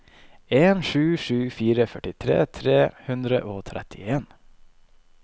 en sju sju fire førtifire tre hundre og trettien